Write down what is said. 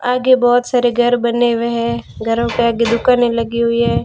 आगे बहोत सारे घर बने हुए है घरों के आगे दुकाने लगी हुई है।